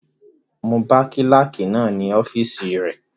Mo bá kílàkì náà ní ọ́fìsì rẹ